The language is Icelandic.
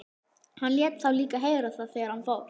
Hann lét þá líka heyra það þegar hann fór.